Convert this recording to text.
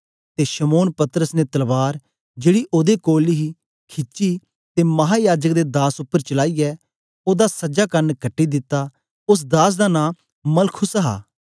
ते शमौन पतरस ने तलवार जेड़ी ओदे कोल ही खिची ते महायाजक दे दास उपर चलाईयै ओदा सजा कन कटी दिता ओस दास दा नां मलखुस हा